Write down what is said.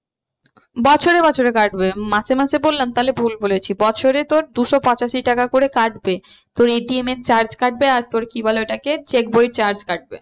বছরে বছরে কাটবে মাসে মাসে বললাম তাহলে ভুল বলেছি। বছরে তোর দুশো পঁচাশি টাকা করে কাটবে। তোর ATM এর charge কাটবে আর তোর কি বলে ওটাকে check বই এর charge কাটবে।